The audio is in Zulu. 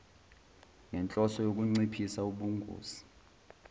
ngenhloso yokunciphisa ubungozi